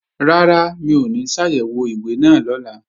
Rárá, mi ò ní ṣàyẹ̀wò ìwé náà lọ́la